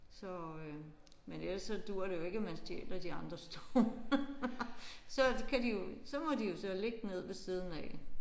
Så øh men ellers så duer det jo ikke at man stjæler de andres stole. Så kan de jo så må de jo så ligge ned ved siden af